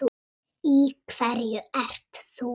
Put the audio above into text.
Í hverju ert þú?